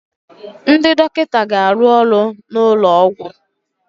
Ndị dọkịta ga-arụ ọrụ n'ụlọ ọgwụ